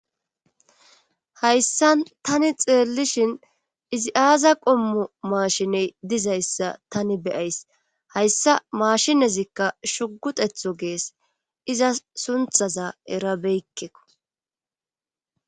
Hayssan tani xeellishhin izi aaza qommo maashiney dizayssa tani beyays hayssa maashinezikka shugutetho gees iza sunthaza erabeykkeko.